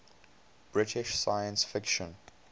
british science fiction